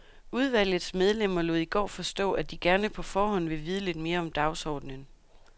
Udvalgets medlemmer lod i går forstå, at de gerne på forhånd vil vide lidt mere om dagsordenen.